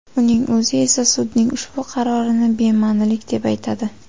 Uning o‘zi esa sudning ushbu qarorini bema’nilik deb atadi.